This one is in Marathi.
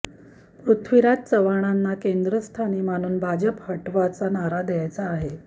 पृथ्वीराज चव्हाणांना केंद्रस्थानी मानून भाजप हटावचा नारा द्यायचा आहे